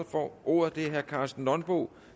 får ordet er herre karsten nonbo